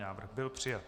Návrh byl přijat.